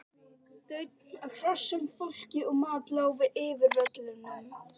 Daunn af hrossum, fólki og mat lá yfir völlunum.